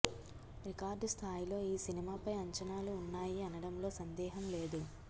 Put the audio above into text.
record స్థాయిలో ఈ సినిమాపై అంచనాలు ఉన్నాయి అనడంలో సందేహం లేదు